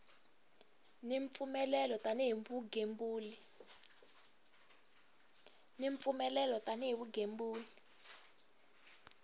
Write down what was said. ni mpfumelelo tani hi vugembuli